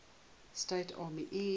states army air